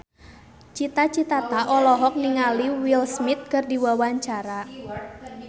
Cita Citata olohok ningali Will Smith keur diwawancara